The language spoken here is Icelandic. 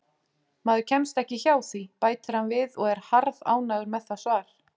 Maður kemst ekki hjá því, bætir hann við og er harðánægður með það svar.